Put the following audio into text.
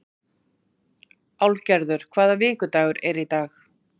Álfgerður, hvaða vikudagur er í dag?